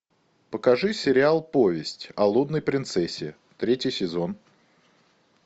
покажи сериал повесть о лунной принцессе третий сезон